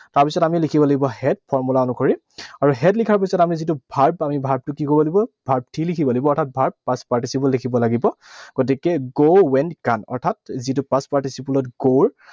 তাৰপিছত আমি লিখিব লাগিব had, formula অনুসৰি। আৰু had লিখাৰ পিছত আমি যিটো verb, verb টো আমি কি কৰিব লাগিব? Verb three লিখিব লাগিব। অৰ্থাৎ verb past participle লিখিব লাগিব। গতিকে go, went, gone, অৰ্থাৎ যিটো past participle ত go